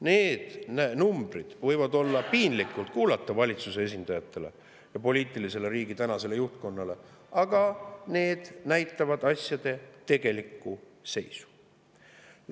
Need numbrid võivad olla piinlikud kuulata valitsuse esindajatele ja riigi tänasele poliitilisele juhtkonnale, aga need näitavad asjade tegelikku seisu.